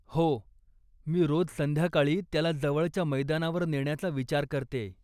हो, मी रोज संध्याकाळी त्याला जवळच्या मैदानावर नेण्याचा विचार करतेय.